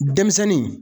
Denmisɛnnin